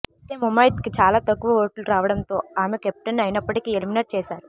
అయితే ముమైత్కు చాలా తక్కువ ఓట్లు రావడంతో ఆమె కెప్టెన్ అయినప్పటికీ ఎలిమినేట్ చేశారు